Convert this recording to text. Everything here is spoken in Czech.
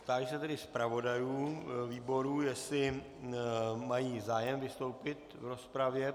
Táži se tedy zpravodajů výborů, jestli mají zájem vystoupit v rozpravě.